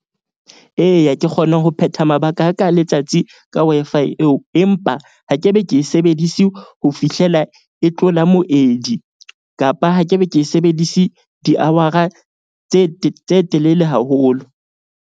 Eya, ke kgone ho phetha mabaka a ka letsatsi ka Wi-Fi eo. Empa ha ke be ke e sebedise ho fihlela e tlola moedi kapa ha kebe ke sebedise di-hour-a tse tse telele haholo.